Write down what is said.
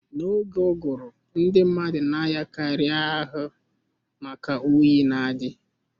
Na-oge uguru ndị mmadụ na-arịa karị ahụ maka oyi na-adi